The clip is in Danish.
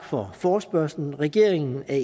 for forespørgslen regeringen er